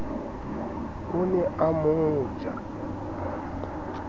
o ne a mo ja